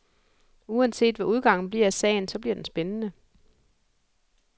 Uanset hvad udgangen bliver af sagen, så bliver den spændende.